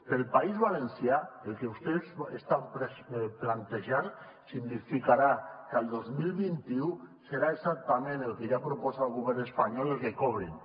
per al país valencià el que vostès estan plantejant significarà que el dos mil vint u serà exactament el que ja proposa el govern espanyol el que cobrin